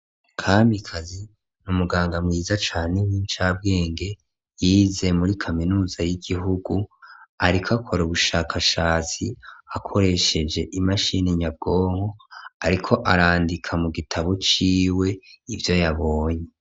Kamikazi ni umuganga mwiza cane w'inshabwenge yize muri kaminuza y'igihugu, ariko akora ubushakashatsi akoresheje imashini nyabwonko, ariko arandika mu gitabo ciwe ivyo yabonye.